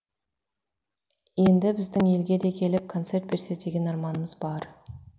енді біздің елге де келіп концерт берсе деген арманымыз бар